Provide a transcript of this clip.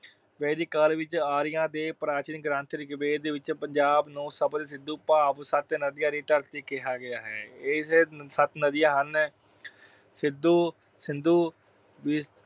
ਵੈਦਿਕ ਕਾਲ ਵਿੱਚ ਆਰੀਆ ਅਤੇ ਪ੍ਰਾਚੀਨ ਗ੍ਰੰਥ ਰਿਗਵੇਦ ਵਿੱਚ ਪੰਜਾਬ ਨੂੰ ਸਪਤ ਸਿੰਧੂ ਭਾਵ ਸੱਤ ਨਦੀਆਂ ਦੀ ਧਰਤੀ ਕਿਹਾ ਗਿਆ ਹੈ। ਇਹ ਸੱਤ ਨਦੀਆਂ ਹਨ- ਸਿੱਧੂ ਅਹ ਸਿੰਧੂ